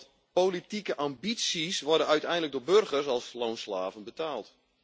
Want politieke ambities worden uiteindelijk door burgers als loonslaven betaald.